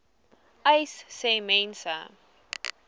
uys sê mense